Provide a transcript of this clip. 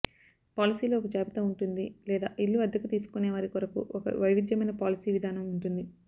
పాలసీలో ఒక జాబితా ఉంటుంది లేదా ఇళ్ళు అద్దెకు తీసుకునే వారి కొరకు ఒక వైవిధ్యమైన పాలసీ విధానం ఉంటుంది